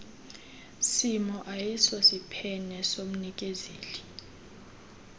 simo ayisosiphene somnikezeli